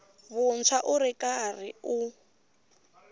vuntshwa u ri karhi u